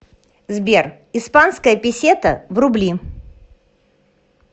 сбер испанская песета в рубли